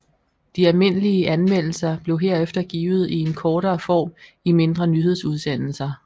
De almindelige anmeldelser blev herefter givet i en kortere form i mindre nyhedsudsendelser